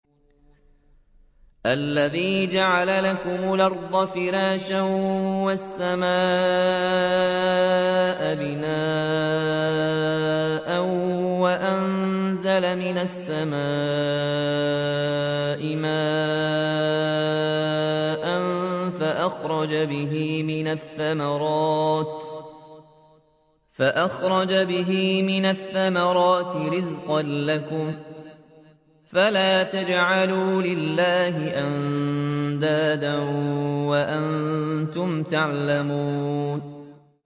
الَّذِي جَعَلَ لَكُمُ الْأَرْضَ فِرَاشًا وَالسَّمَاءَ بِنَاءً وَأَنزَلَ مِنَ السَّمَاءِ مَاءً فَأَخْرَجَ بِهِ مِنَ الثَّمَرَاتِ رِزْقًا لَّكُمْ ۖ فَلَا تَجْعَلُوا لِلَّهِ أَندَادًا وَأَنتُمْ تَعْلَمُونَ